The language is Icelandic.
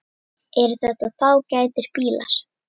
Eru þetta fágætir bílar?